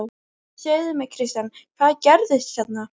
Segðu mér Kristján, hvað gerðist hérna?